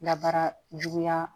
Dabara juguya